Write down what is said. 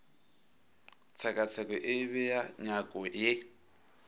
tshekatsheko e bea nyako ye